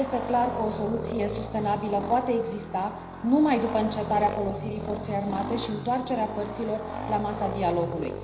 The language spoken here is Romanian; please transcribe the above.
Este clar că o soluție sustenabilă poate exista numai după încetarea folosirii forței armate și întoarcerea părților la masa dialogului.